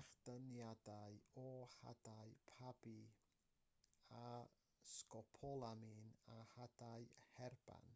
echdyniadau o hadau pabi a sgopolamin o hadau herban